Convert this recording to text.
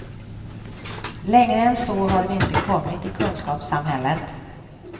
Längre än så har vi inte kommit i kunskapssamhället.